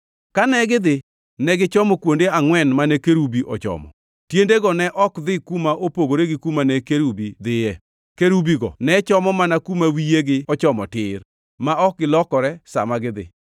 Kane gidhi, ne gichomo kuonde angʼwen mane kerubi ochomo. Tiendego ne ok dhi kuma opogore gi kuma ne kerubi dhiye. Kerubigo ne chomo mana kuma wiyegi ochomo tir, ma ok gilokore sa ma gidhi.